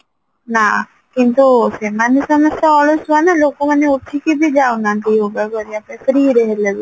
ନାଁ କିନ୍ତୁ ସେମାନେ ସମସ୍ତେ ଅଳସୁଆ ନା ଲୋକ ମାନେ ଉଠିକି ବି ଯାଉନାହାନ୍ତି yoga କରିବା ପାଇଁ freeରେ ହେଲେବି